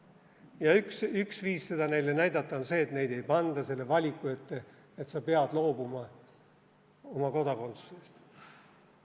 Ja üks viis seda neile näidata on see, et neid ei panda valiku ette, et nad peavad loobuma oma kodakondsusest.